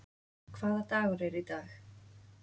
Hvaða dagur er í dag?